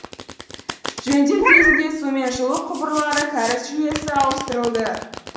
жөндеу кезінде су мен жылу құбырлары кәріз жүйесі ауыстырылды